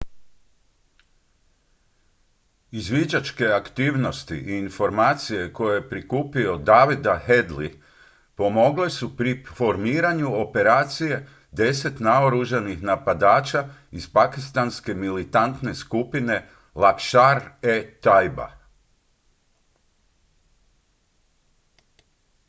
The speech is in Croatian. izviđačke aktivnosti i informacije koje je prikupio davida headley pomogle su pri formiranju operacije 10 naoružanih napadača iz pakistanske militantne skupine laskhar-e-taiba